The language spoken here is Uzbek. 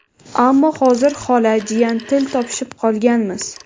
Ammo hozir xola-jiyan til topishib qolganmiz.